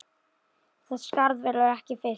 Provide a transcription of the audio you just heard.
Það skarð verður ekki fyllt.